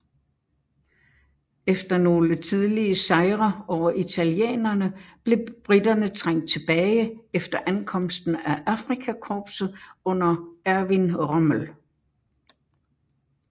Efter nogle tidlige sejre over italienerne blev briterne trængt tilbage efter ankomsten af Afrikakorpset under Erwin Rommel